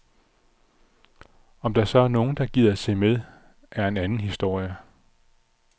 Om der så er nogen, der gider se med, er en anden historie.